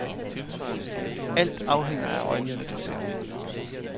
Alt afhænger af øjnene, der ser.